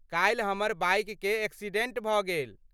काल्हि हमर बाइककेँ एक्सिडेंट भऽ गेल।